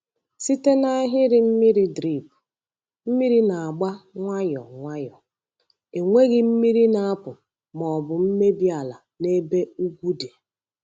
Site na ahịrị mmiri drip, mmiri na-agba nwayọ nwayọ, enweghị mmiri na-apụ ma ọ bụ mmebi ala n’ebe ugwu dị.